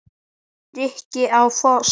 Rikka á Fossi!